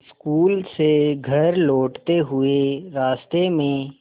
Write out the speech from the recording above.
school से घर लौटते हुए रास्ते में